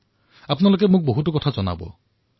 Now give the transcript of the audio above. মাহটোত আপোনালোকে মোক বহু কথা কব